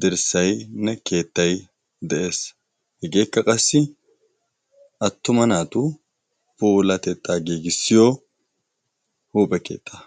dirssainne keettay de7ees hegeekka qassi attuma naatu poolatexxaa geegissiyo huuphe keettaa